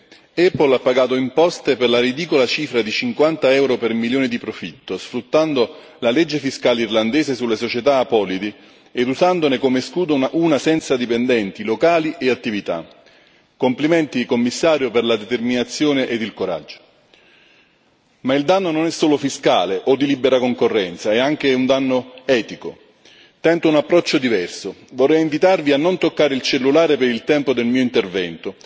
Signora Presidente, onorevoli colleghi, Apple ha pagato imposte per la ridicola cifra di 50 euro per milione di profitto, sfruttando la legge fiscale irlandese sulle società apolidi ed usandone come scudo una senza dipendenti, locali e attività. Complimenti, Commissario, per la determinazione ed il coraggio. Ma il danno non è solo fiscale o di libera concorrenza, è anche un danno etico. Tento un approccio diverso vorrei invitarvi a non toccare il cellulare per il tempo del mio intervento.